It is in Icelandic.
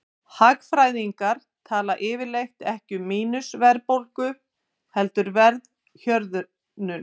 Hagfræðingar tala yfirleitt ekki um mínus-verðbólgu heldur verðhjöðnun.